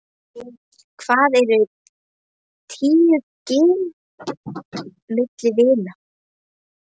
Hvað eru tíu gin milli vina.